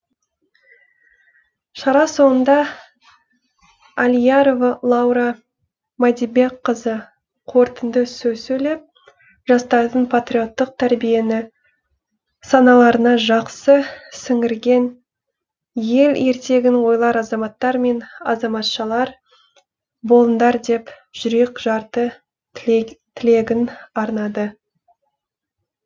шара соңында алиярова лаура мадибекқызы қорытынды сөз сөйлеп жастардың патриоттық тәрбиені саналарына жақсы сіңірген ел ертегін ойлар азаматтар мен азаматшалар болыңдар деп жүрекжарды тілегін арнады